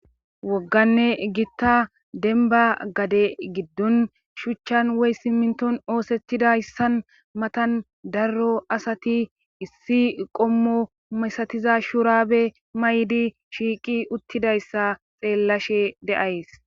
Wogganne gitta denba gade giddon shuchchan woy simminton oosettidayssan matan darro asati issi qommo masatiza shuraabe maydi shiiqi uttidayssa xeellashe de7ays.